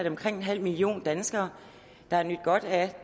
omkring en halv million danskere der har nydt godt af